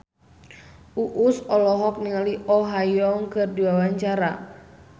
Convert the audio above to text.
Uus olohok ningali Oh Ha Young keur diwawancara